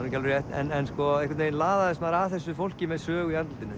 ekki alveg rétt en einhvern veginn laðaðist maður að þessu fólki með sögu í andlitinu